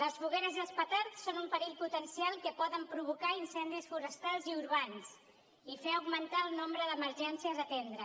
les fogueres i els petards són un perill potencial que poden provocar incendis forestals i urbans i fer augmentar el nombre d’emergències a atendre